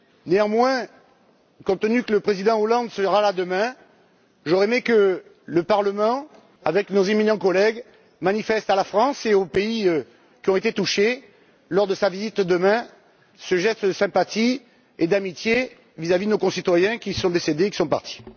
Néanmoins, étant donné que le président Hollande sera là demain, j'aurais aimé que le Parlement, avec nos éminents collègues manifestent à la France et aux pays qui ont été touchés, lors de sa visite de demain, ce geste de sympathie et d'amitié vis à vis de nos concitoyens qui sont décédés, qui sont partis.